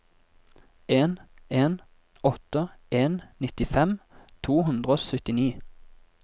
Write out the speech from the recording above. en en åtte en nittifem to hundre og syttini